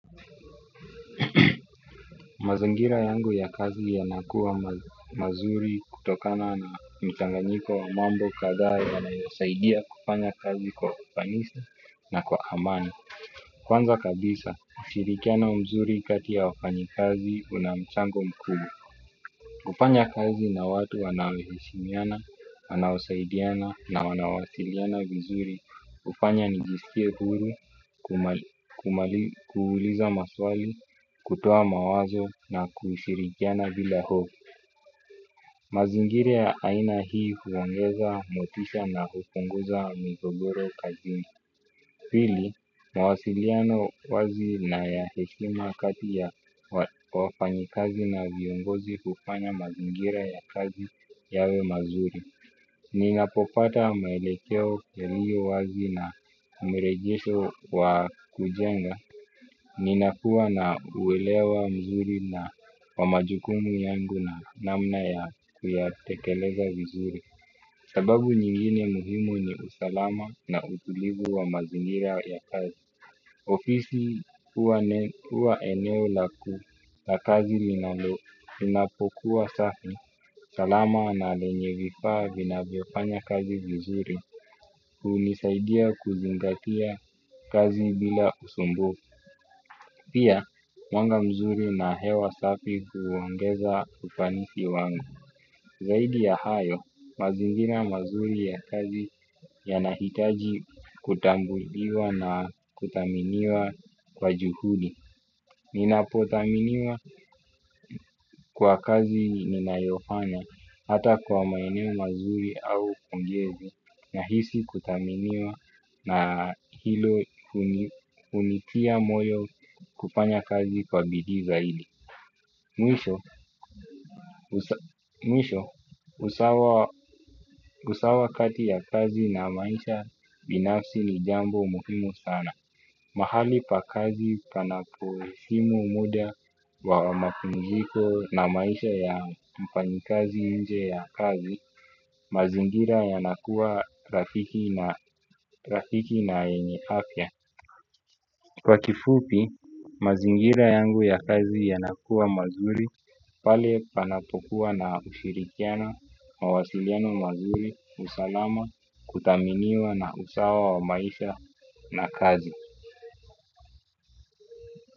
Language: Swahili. Mazingira yangu ya kazi yanakuwa mazuri kutokana ni mchanganyiko wa mambo kadhaa yanayosaidia kufanya kazi kwa ufanisi na kwa amani. Kwanza kabisa, ushirikiana mzuri kati ya wafanyi kazi una mchango mkubwa. Kufanya kazi na watu wanaoheshimiana, wanaosaidiana na wanawasiliana vizuri hufanya nijisikie huru, kuuliza maswali, kutoa mawazo na kushirikiana bila ho. Mazingira ya aina hii huongeza motisha na hupunguza migogoro kazini. Pili, mawasiliano wazi na ya heshima kati ya wafanyikazi na viongozi hufanya mazingira ya kazi yawe mazuri. Ninapopata maelekeo ya hiyo wazi na mrejesho wa kujenga ninapua na uwelewa mzuri na wa majukumu yangu na namna ya kuyatekeleza vizuri. Sababu nyingine muhimu ni usalama na utulivu wa mazingira ya kazi. Ofisi huwa ni huwa eneo langu la kazi ninapokuwa safi salama na lenye vifaa vinavyofanya kazi vizuri hunisaidia kuzingatia kazi bila usumbu. Pia, mwanga mzuri na hewa sapi huongeza ufanisi wangu. Zaidi ya hayo, mazingira mazuri ya kazi yanahitaji kutambuliwa na kudhaminiwa kwa juhudi. Ninapodhaminiwa kwa kazi ninayofanya hata kwa maeneo mazuri au kumjezi. Nahisi kudhaminiwa na hilo hunitia moyo kufanya kazi kwa bidii zaidi mwish. Mwisho, usawa kati ya kazi na maisha binafsi ni jambo muhimu sana. Mahali pa kazi panapoheshimu muda wa mapumziko na maisha ya mfanyi kazi nje ya kazi, mazingira yanakuwa rafiki na yenye afya. Kwa kifupi, mazingira yangu ya kazi yanakuwa mazuri pale panapokuwa na ushirikiano mawasiliano mazuri usalama kudhaminiwa na usawa wa maisha na kazi.